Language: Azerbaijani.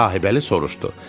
Sahibəli soruşdu: